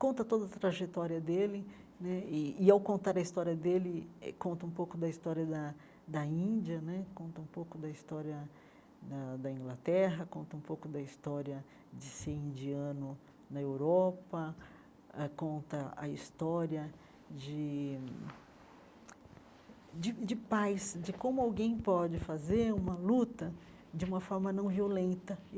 conta toda a trajetória dele né, e e ao contar a história dele eh, conta um pouco da história da da Índia né, conta um pouco da história da da Inglaterra, conta um pouco da história de ser indiano na Europa ãh, conta a história de de de paz, de como alguém pode fazer uma luta de uma forma não violenta.